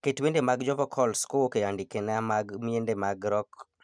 Ket wende mag jovokols kowuok e andikena mag miende mag rock